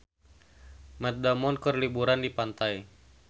Matt Damon keur liburan di pantai